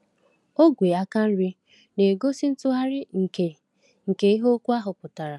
Ogwe aka nri na-egosi ntụgharị nke nke ihe okwu ahụ pụtara.